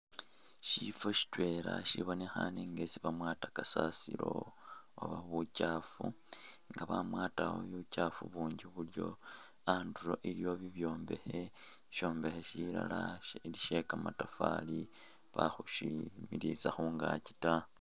Shifo shitwela shibonekhane nga isi bamwata kasasiro oba buchaafu nga bamwatawo buchaafu bunji bulyo, andulo iliwo bibyombekhe, shishombekhe shilala shili shekamatafali bakhushimilisa khungaki ta